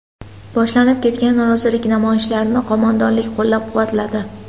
Boshlanib ketgan norozilik namoyishlarini qo‘mondonlik qo‘llab-quvvatladi.